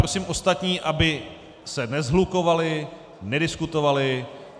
Prosím ostatní, aby se neshlukovali, nediskutovali.